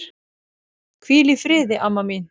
Hvíl í friði, amma mín.